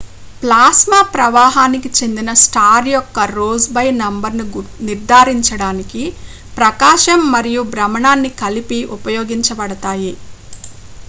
plasma ప్రవాహానికి చెందిన star యొక్క rossby నంబర్ను నిర్ధారించడానికి ప్రకాశం మరియు భ్రమణాన్ని కలిపి ఉపయోగించబడతాయి